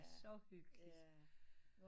Så hyggeligt